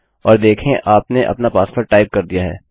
और देखें आपने अपना पासवर्ड टाइप कर दिया है